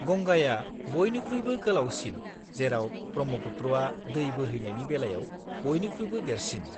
-गंगाया बयनिख्रुइबो गोलावसिन जेराव ब्रह्मपुत्रआ दै बोहैनायनि बेलायाव बयनिख्रुइबो देरसिन।